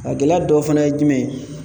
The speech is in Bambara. A gɛlɛya dɔ fana ye jumɛn ye